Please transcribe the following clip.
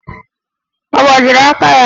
Ọ gbajiri aka ya?